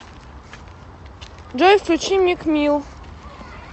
джой включи мик мил